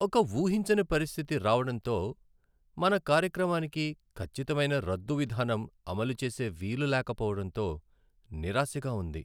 ఒక ఊహించని పరిస్థితి రావడంతో , మన కార్యక్రమానికి ఖచ్చితమైన రద్దు విధానం అమలు చేసే వీలు లేకపోవడంతో నిరాశగా ఉంది.